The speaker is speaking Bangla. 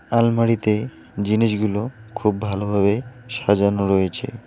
আলমারিতে জিনিসগুলো খুব ভালোভাবে সাজানো রয়েছে।